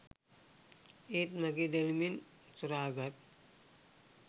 ඒත් මගෙ දැනුමෙන් සොරා ගත්